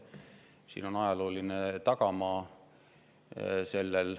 Sellel on ajalooline tagamaa.